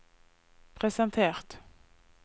presentert